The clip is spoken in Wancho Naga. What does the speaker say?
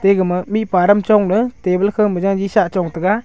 egama mikparum chongley table khama jari shah chongtaga.